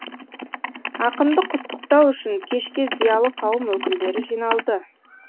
ақынды құттықтау үшін кешке зиялы қауым өкілдері жиналды